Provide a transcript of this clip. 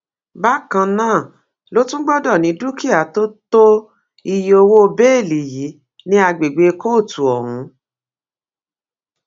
bákan náà ló tún gbọdọ ní dúkìá tó tó iye owó bẹẹlí yìí ní àgbègbè kóòtù ọhún